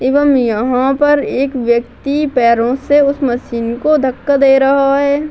एवं यहां पर एक व्यक्ति पैरो से उस मशीन को धक्का दे रहा है।